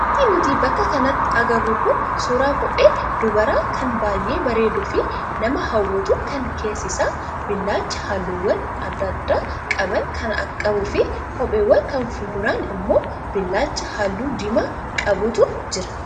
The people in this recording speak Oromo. Wanti nuti bakka kanatti agarru kun suuraa kophee dubaraa kan baay'ee bareeduu fi nama hawwatu kan keessi isaa billaacha halluuwwan adda addaa qaban kan qabuu fi kopheen kan fuulduraan immoo billaacha halluu diimaa qabutu jira.